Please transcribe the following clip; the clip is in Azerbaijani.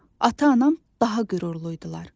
Ata-anam daha qürurlu idilər.